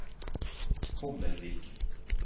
Hommelvik